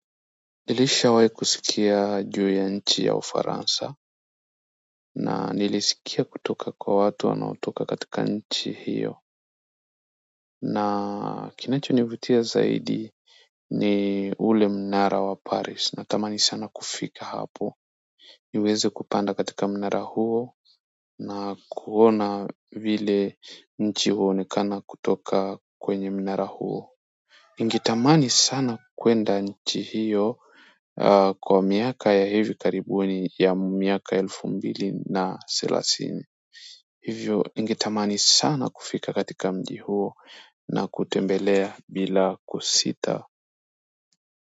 Nilishawai kusikia juu ya nchi ya Ufaransa na nilisikia kutoka kwa watu wanaotoka katika nchi hiyo na kinachonivutia zaidi ni ule mnara wa paris na tamani sana kufika hapo niweze kupanda katika mnara huo na kuona vile nchi huonekana kutoka kwenye mnara huo ningetamani sasa kwenda nchi hiyo kwa miaka ya hivi karibuni ya miaka ya elfu mbili salasini hivyo ningetamani sana kufika katika mji huo na kutembelea bila kusita.